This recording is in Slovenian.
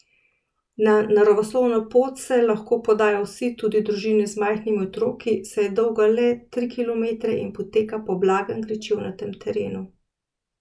Na naravoslovno pot se lahko podajo vsi, tudi družine z majhnimi otroki, saj je dolga le tri kilometre in poteka po blagem gričevnatem terenu.